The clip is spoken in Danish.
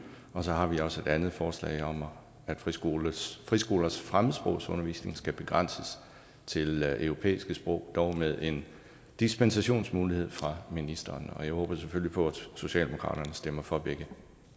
så har vi også et andet forslag om at friskolers friskolers fremmedsprogsundervisning skal begrænses til europæiske sprog dog med en dispensationsmulighed fra ministeren og jeg håber selvfølgelig på at socialdemokratiet stemmer for begge